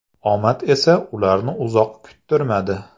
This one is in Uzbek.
Omad esa ularni uzoq kuttirmadi.